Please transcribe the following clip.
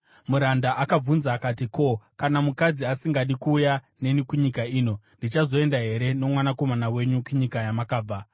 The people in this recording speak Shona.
Muranda akabvunza akati, “Ko, kana mukadzi asingadi kuuya neni kunyika ino? Ndichazoenda here nomwanakomana wenyu kunyika yamakabva?”